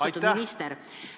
Austatud minister!